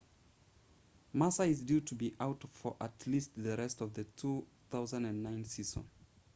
massa is due to be out for at least the rest of the 2009 season